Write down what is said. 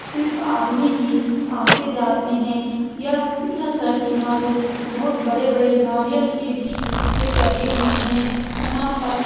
सिर्फ आदमी है। आते-जाते है। यह-यह सड़क किनारे बहुत बड़े-बड़े नारियल के भी पेड़ लगे हुए है। यहाँ पर --